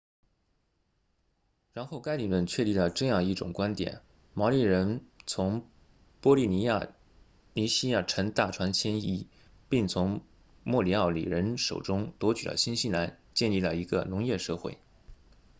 然后该理论确立了这样一种观点毛利人从波利尼西亚乘大船迁移并从莫里奥里人手中夺取了新西兰建立了一个农业社会